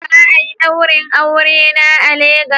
Za a yi daurin aure na a Legas